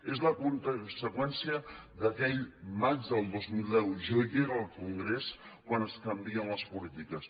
és la conseqüència d’aquell maig del dos mil deu jo hi era al congrés quan es canvien les polítiques